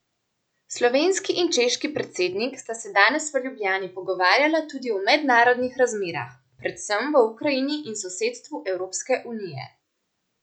Slovenski in češki predsednik sta se danes v Ljubljani pogovarjala tudi o mednarodnih razmerah, predvsem v Ukrajini in sosedstvu Evropske unije.